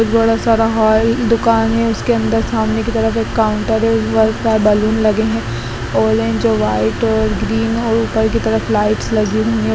एक बड़ा सारा हॉल दूकान है उसके अंदर सामने के तरफ एक काउंटर है ऊपर बैलून लगे है ऑरेंज और वाइट और ग्रीन और ऊपर की तरफ लाइट्स लगी हुई है।